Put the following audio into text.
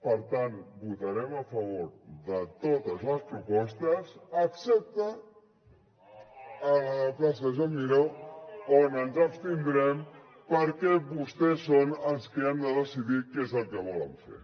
per tant votarem a favor de totes les propostes excepte a la plaça joan miró on ens abstindrem perquè vostès són els que han de decidir què és el que volen fer